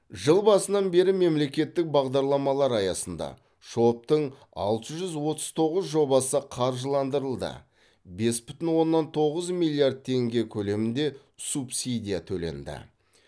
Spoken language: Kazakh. жыл басынан бері мемлекеттік бағдарламалар аясында шоб тың алты жүз отыз тоғыз жобасы қаржыландырылды бес бүтін оннан тоғыз миллиард теңге көлемінде субсидия төленді